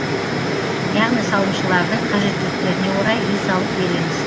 яғни салымшылардың қажеттіліктеріне орай үй салып береміз